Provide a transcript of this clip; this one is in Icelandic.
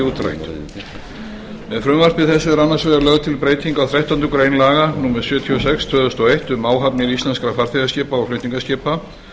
útrætt með frumvarpi þessu er meðal annars lögð til breyting á þrettándu grein laga númer sjötíu og sex tvö þúsund og eitt um áhafnir íslenskra farþegaskipa og flutningaskipa